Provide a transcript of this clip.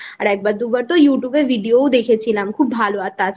আর একবার দুবার তো YouTube ভিডিও ও দেখেছিলাম খুব